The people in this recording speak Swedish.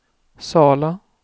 Sala